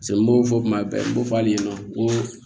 n b'o fɔ kuma bɛɛ n ko f'a ɲɛna ko